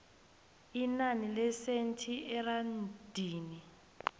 inani lesenthi erandini